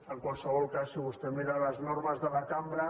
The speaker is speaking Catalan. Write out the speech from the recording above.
en qualsevol cas si vostè mira les normes de la cambra